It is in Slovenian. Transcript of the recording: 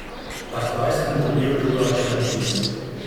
A zdaj sem dobil drugačen vtis.